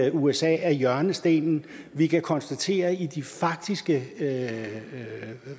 at usa er hjørnestenen vi kan konstatere i de faktiske